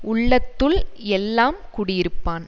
உள்ளத்துள் எல்லாம் குடி இருப்பான்